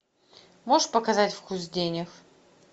можешь показать вкус денег